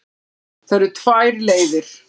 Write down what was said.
Það eru tvær leiðir.